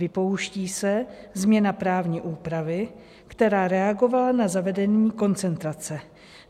Vypouští se změna právní úpravy, která reagovala na zavedení koncentrace.